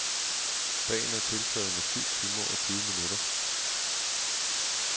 Dagen er tiltaget med syv timer og tyve minutter.